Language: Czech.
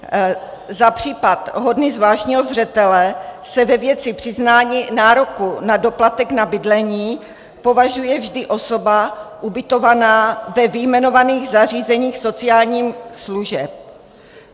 Za případ hodný zvláštního zřetele se ve věci přiznání nároku na doplatek na bydlení považuje vždy osoba ubytovaná ve vyjmenovaných zařízeních sociálních služeb.